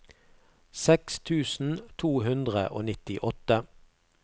seks tusen to hundre og nittiåtte